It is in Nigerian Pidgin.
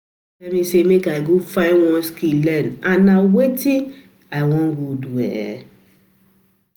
My mama tell me say make I go find one skill learn and na wetin I um go do um